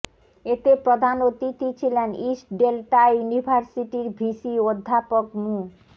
এতে প্রধান অতিথি ছিলেন ইস্ট ডেল্টা ইউনিভার্সিটির ভিসি অধ্যাপক মু